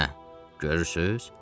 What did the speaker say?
Hə, görürsüz?